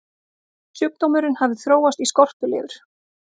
sjúkdómurinn hafði þróast í skorpulifur